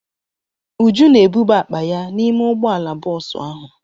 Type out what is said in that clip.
Uju na-ebuba akpa ya n'ime ụgbọala bọọsụ ahụ.